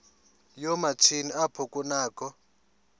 yoomatshini apho kunakho